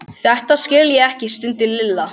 Þetta skil ég ekki stundi Lilla.